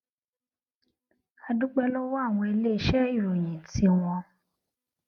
a dúpé lówó àwọn iléeṣé ìròyìn tí wọn